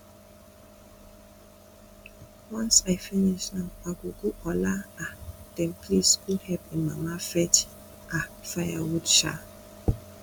once i finish now i go go ola um dem place go help im mama fetch um firewood um